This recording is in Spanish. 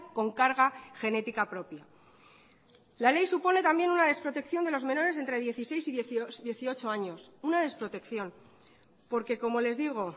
con carga genética propia la ley supone también una desprotección de los menores entre dieciséis y dieciocho años una desprotección porque como les digo